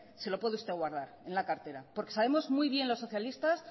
se lo puede usted guardar en la cartera porque sabemos muy bien los socialistas